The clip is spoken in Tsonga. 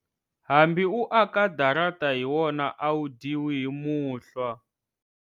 Hambi u aka darata hi wona a wu dyiwi hi muhlwa.